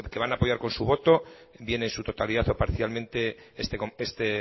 van a apoyar con su voto bien en su totalidad o parcialmente